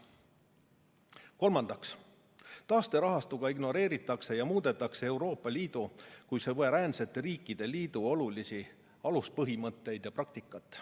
Kolmandaks, taasterahastuga ignoreeritakse ja muudetakse Euroopa Liidu kui suveräänsete riikide liidu olulisi aluspõhimõtteid ja praktikat.